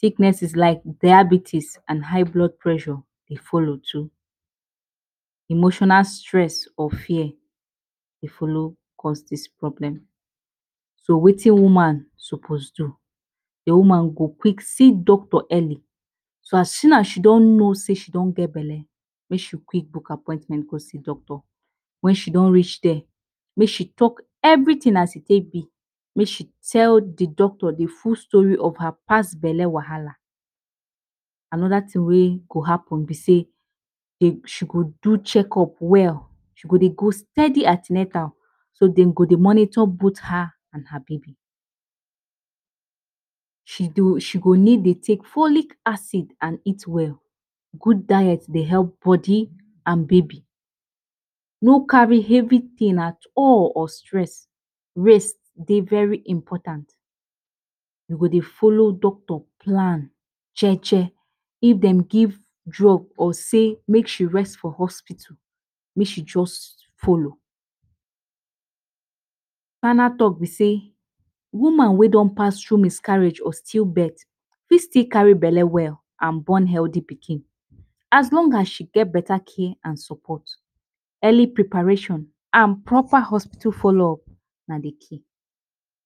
Sicknesses like diabetes and high blood pressure dey follow too. Emotional stress or fear fit follow cause dis problem. So Wetin woman suppose do. The woman go quick see doctor early. So as soon as she don know say she don get belle, make she quick book appointment go see doctor. Wen she don reach there, make she talk everything as e be. Make she tell the doctor the full story of her past belle wahala. Anoda thing wey fit happen if she do check-up well, she go go an ten atal so dey go monitor both her and her baby. She need take folic acid and eat well. Good diet Dey help d body and baby. No carry heavy things at all or stress. Rest Dey very important. You should follow the doctor plan. Jeje, if dem talk sey make she rest for hospital, make she just follow. Final talk b Dey sey, woman wey don pass thru miscarriage or stillbirth, fit still carry belly well and born healthy pikin. As long as she get better care and support. Early preparation and proper hospital followup na d key.